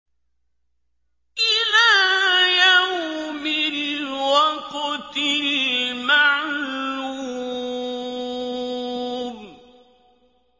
إِلَىٰ يَوْمِ الْوَقْتِ الْمَعْلُومِ